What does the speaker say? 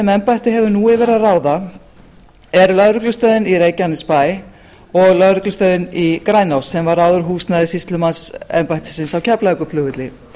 embættið hefur nú yfir að ráða er lögreglustöðin í reykjanesbæ og lögreglustöðin í grænási sem var áður húsnæði sýslumannsembættisins á keflavíkurflugvelli